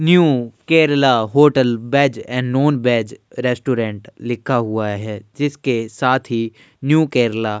new Kerala hotel veg and non veg restaurant लिखा हुआ है जिसके साथ ही न्यू केरला --